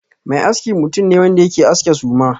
Mai aski mutum ne wanda yake aske suma.